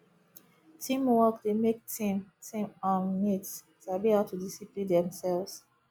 teamwork dey make team team um mate sabi how to discipline themselves